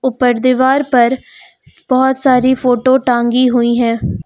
पर दीवार पर बहोत सारी फोटो टांगी हुई हैं।